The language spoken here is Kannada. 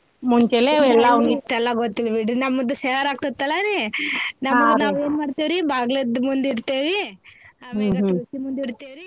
ಇಸ್ಟ್ ಎಲ್ಲಾ ಗೊತ್ತಿಲ್ಲಬಿಡ್ರಿ ನಮ್ದು ಶಹರ್ ಆಕ್ತಿತಲ್ಲರೀ ನಮ್ದು ನಾವ್ ಏನ್ ಮಾಡ್ತೀವ್ ರೀ ಬಾಗ್ಲದ್ದ್ ಮುಂದಿಡ್ತೇವಿ ಆಮ್ಯಾಗ ತುಳ್ಸಿ ಮುಂದಿಡ್ತೇವ್ ರ್ರೀ.